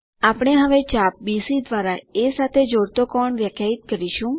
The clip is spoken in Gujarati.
આપણે હવે ચાપ બીસી દ્વારા એ સાથે જોડાતો કોણ વ્યાખ્યાયિત કરીશું